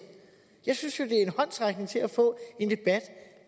jeg synes jo det er en håndsrækning til at få en debat